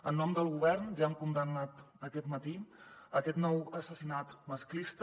en nom del govern ja hem condemnat aquest matí aquest nou assassinat masclista